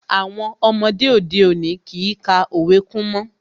Àwọn ọmọdé òde òní kìí ka òwe kún mọ́